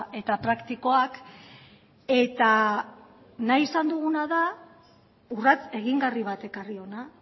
eta praktikoak eta nahi izan duguna da urrats egingarri bat ekarri hona